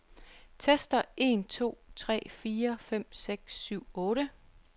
Tester en to tre fire fem seks syv otte.